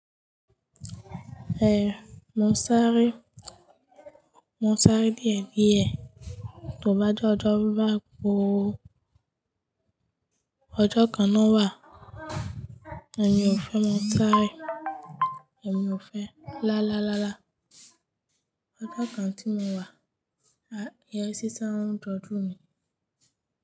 Eh, mo sáré, mo sáré díẹ̀ díẹ̀, tó bá jẹ́ ọjọ́ bá kó ó, ọjọ́ kan náà wà, èmi ò fẹ́ mo sáré, èmi ò fẹ́ lá lá lá lá. Ọjọ́ kan tí mo wà, ìyá sí sáń ojọjú mi.